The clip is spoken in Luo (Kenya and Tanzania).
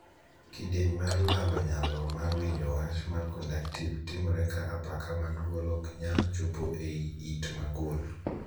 Kidieny mar lalo nyalo mar winjo wach mar 'conductive' timore ka apaka mag dwol ok nyal chopo ei it magul.